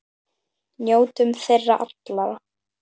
Njótum þeirra allra.